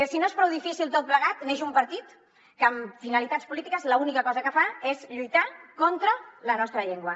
si no és prou difícil tot plegat neix un partit que amb finalitats polítiques l’única cosa que fa és lluitar contra la nostra llengua